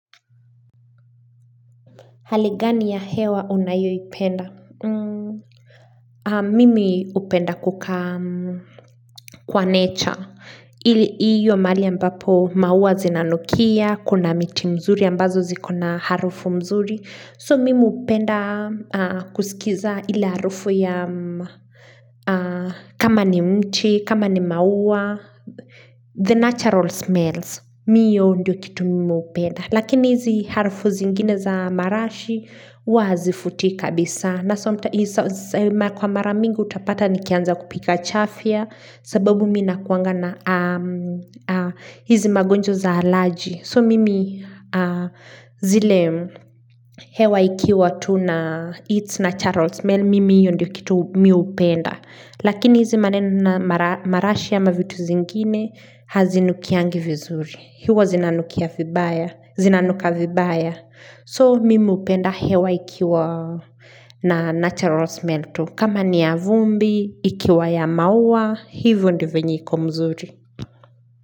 Hali gani ya hewa unayoipenda? Mimi hupenda kukaa, kwa nature. Ili hiyo mahali ambapo maua zinanukia, kuna miti nzuri ambazo zikona harufu mzuri. So mimi hupenda kusikiza ile harufu ya, kama ni mchi, kama ni maua. The natural smells. Mimi hiyo ndio kitu mimi hupenda. Lakini hizi harufu zingine za marashi huwa hazivutii kabisa. Na kwa mara mingi hutapata nikianza kupika chafia. Sababu mimi nakuanga na hizi magonjwa za alaji. So mimi zile hewa ikiwa tu na its naturals main mimi hiyo ndo kitu mimi hupenda. Lakini hizi maneno na marashi ama vitu zingine hazinukiangi vizuri. Huwa zinanukia vibaya, Zinanuka vibaya, So mimi hupenda hewa ikiwa na natural smell tu, kama ni ya vumbi, ikiwa ya maua Hivo ndivyo iko mzuri.